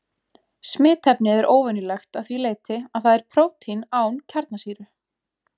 Smitefnið er óvenjulegt að því leyti að það er prótín án kjarnasýru.